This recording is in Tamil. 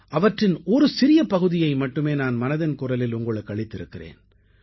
அவற்றின் ஒரு சிறிய பகுதியை மட்டுமே நான் மனதின் குரலில் உங்களுக்கு அளித்திருக்கிறேன்